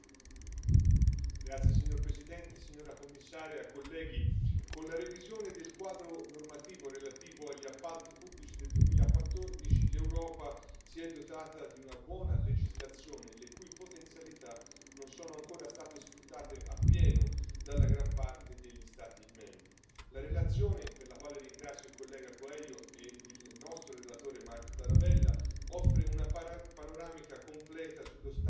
Signor Presidente, signora Commissario, onorevoli colleghi, con la revisione del quadro normativo relativo agli appalti pubblici del 2014, l'Europa si è dotata di una buona legislazione, le cui potenzialità non sono ancora state sfruttate appieno da gran parte degli Stati membri. La relazione, per la quale ringrazio il collega Coelho e il nostro relatore Marc Tarabella, offre una panoramica completa sullo stato del recepimento